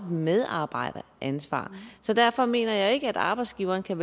medarbejder et ansvar derfor mener jeg ikke at arbejdsgiveren kan